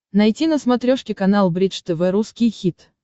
найти на смотрешке канал бридж тв русский хит